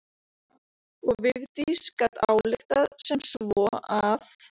Og Vigdís gat ályktað sem svo að